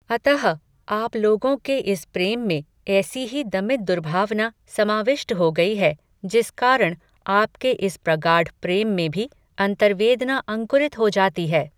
अतः, आप लोगों के इस प्रेम में, ऐसी ही दमित दुर्भावना, समाविष्ट हो गयी है, जिस कारण, आपके इस प्रगाढ प्रेम में भी, अन्तर्वेदना अंकुरित हो जाती है